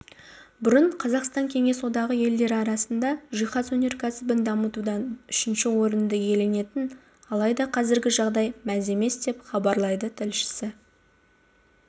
бұрын қазақстан кеңес одағы елдері арасында жиһаз өнеркәсібін дамытудан үшінші орынды иеленетін алайда қазіргі жағдай мәз емес деп хабарлайды тілшісі